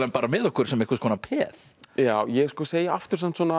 með okkur sem einhvers konar peð ég segi aftur samt svona